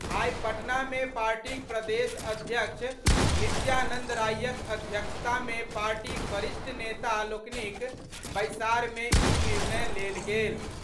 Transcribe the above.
आइ पटना मे पार्टीक प्रदेश अध्यक्ष नित्यानंद रायक अध्यक्षता मे पार्टीक वरिष्ठ नेता लोकनिक बैसार मे ई निर्णय लेल गेल।